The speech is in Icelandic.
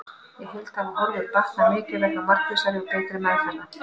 Í heild hafa horfur batnað mikið vegna markvissari og betri meðferða.